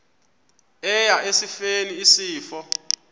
eya esifeni isifo